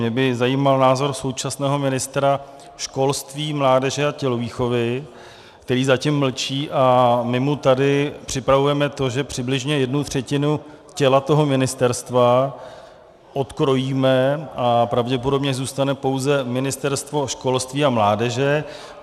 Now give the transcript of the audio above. Mě by zajímal názor současného ministra školství, mládeže a tělovýchovy, který zatím mlčí, a my mu tady připravujeme to, že přibližně jednu třetinu těla toho ministerstva odkrojíme a pravděpodobně zůstane pouze Ministerstvo školství a mládeže.